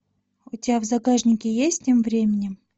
у тебя в загашнике есть тем временем